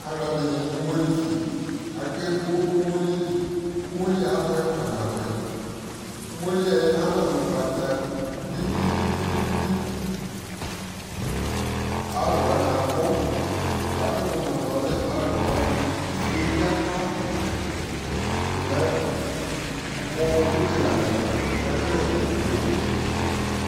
alʋɛdini dʋ ʋmɔli si kʋ akɛ bɔ ʋmɔli li, ɔmɔliɛ abʋɛ kpa nabʋɛ, ɔmɔliɛ ama mʋ ɔgbata gbigbigbii, alʋ wani abʋ yakʋtʋ mʋ nʋ ɔlɛ imaa lʋna ,ʋsiiɛ bi akla kɔmɛ mʋ wʋ kɛkɛ lɛ amɛmʋa mɛ ɛkʋyɛ namɛ dɛwʋ